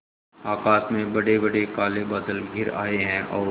आकाश में बड़ेबड़े काले बादल घिर आए हैं और